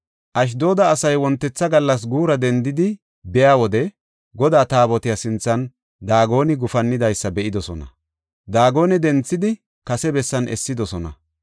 Ashdooda asay wontetha gallas guura dendidi be7iya wode Godaa Taabotiya sinthan Daagoni gufannidaysa be7idosona. Daagone denthidi, kase bessan essidosona.